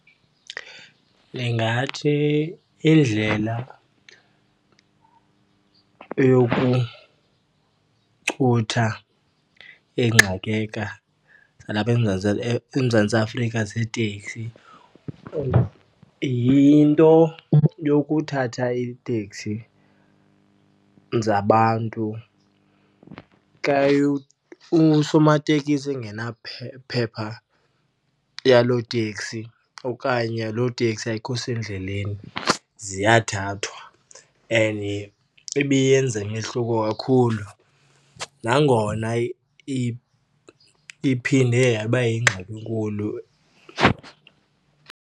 Ndingathi indlela yokuchutha zalapha eMzantsi eMzantsi Afrika zeeteksi yinto yokuthatha iiteksi zabantu xa usomatekisi phepha yaloo teksi okanye loo teksi ayikho sendleleni, ziyathathwa. And ibiyenze umehluko kakhulu nangona iphinde yaba yingxaki enkulu.